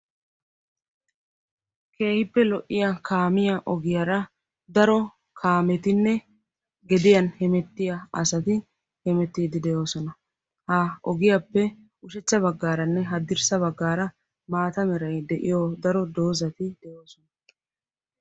keehippe lo''iya kaamiya ogiyaara daro kaamettinne gediyaan hemettiyaa asati hemettiidi doosona. ha ogiyappe ushachcha baggaaranne haddirssa baggaara maata meray de'iyo daro doozati doosona.